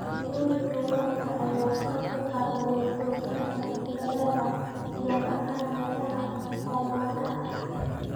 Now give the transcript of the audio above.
Farsamooyinka waraabka ayaa kor u qaada wax soo saarka dalagga gaar ahaan meelaha oomanaha ah.